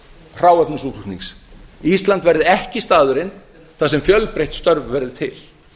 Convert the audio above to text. hráefnis útflutnings ísland verði ekki staðurinn þar sem fjölbreytt störf verði til